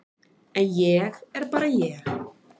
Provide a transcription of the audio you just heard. En ég er bara ég.